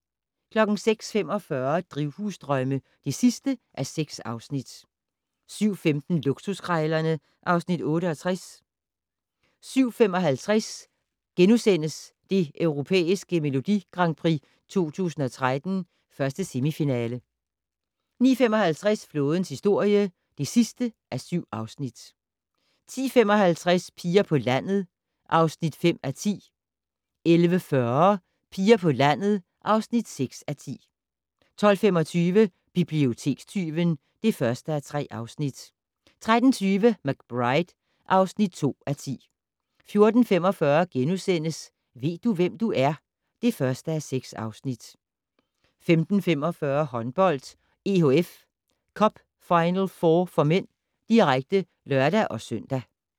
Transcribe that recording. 06:45: Drivhusdrømme (6:6) 07:15: Luksuskrejlerne (Afs. 68) 07:55: Det Europæiske Melodi Grand Prix 2013, 1. semifinale * 09:55: Flådens historie (7:7) 10:55: Piger på landet (5:10) 11:40: Piger på landet (6:10) 12:25: Bibliotekstyven (1:3) 13:20: McBride (2:10) 14:45: Ved du, hvem du er? (1:6)* 15:45: Håndbold: EHF Cup Final4 (m), direkte (lør-søn)